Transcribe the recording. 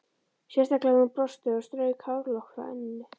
Sérstaklega þegar hún brosti og strauk hárlokk frá enninu.